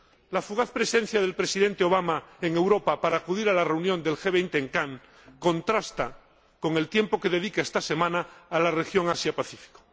La fugaz presencia del Presidente Obama en Europa para acudir a la reunión del G20 en Cannes contrasta con el tiempo que dedica esta semana a la región Asia Pacífico.